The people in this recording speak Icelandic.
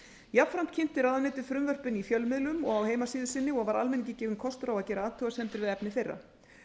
jafnframt kynnti ráðuneytið frumvörpin í fjölmiðlum og á heimasíðu sinni og var almenningi gefinn kostur á að gera athugasemdir við efni þeirra